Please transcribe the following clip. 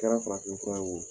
Kɛra farafin fura ye wo